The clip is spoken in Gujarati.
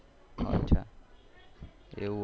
એવું હતું એમ